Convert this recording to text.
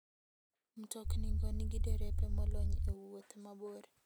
Mtoknigo nigi derepe molony e wuoth mabor.